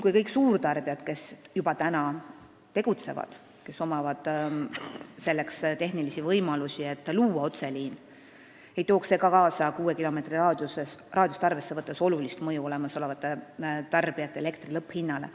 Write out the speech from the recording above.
Kui kõik suurtarbijad, kes juba tegutsevad ja kel on tehnilisi võimalusi otseliini rajamiseks, seda teeksid, ei tooks see kuuekilomeetrist raadiust arvesse võttes kaasa olulist mõju olemasolevate tarbijate elektri lõpphinnale.